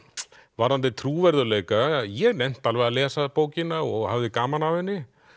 varðandi trúverðugleika ég nennti alveg að lesa bókina og hafði gaman af henni